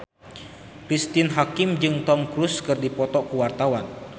Cristine Hakim jeung Tom Cruise keur dipoto ku wartawan